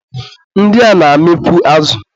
ndị a na-amịkwu azụ.